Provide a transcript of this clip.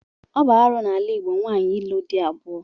Ọ bụ arụ n'ala Igbo nwaanyị ịlụ di abụọ.